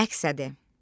Məqsədi.